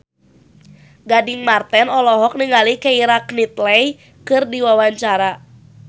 Gading Marten olohok ningali Keira Knightley keur diwawancara